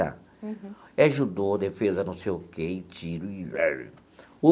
É judô, defesa, não sei o quê, e tiro.